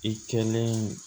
I kɛlen